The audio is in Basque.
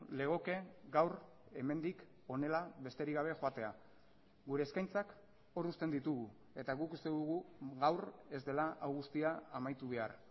legoke gaur hemendik honela besterik gabe joatea gure eskaintzak hor uzten ditugu eta guk uste dugu gaur ez dela hau guztia amaitu behar